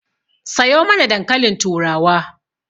Sayo mana dankalin turawa